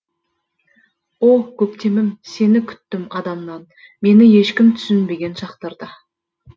о көктемім сені күттім адамнан мені ешкім түсінбеген шақтарда